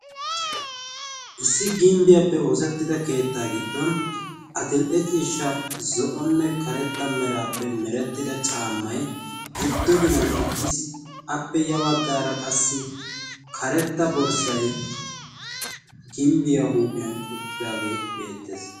issi gimbbiyaappe oosettida keettaa giddon adil''e ciishsha zo'onne karetta meraappe merettida caammai giddo ginan uttiis appe ya baggaara qassi karetta borssay gimbbiyaa huuphiyan uttidaagee beettees